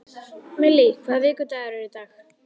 Millý, hvaða vikudagur er í dag?